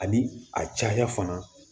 Ani a caya fana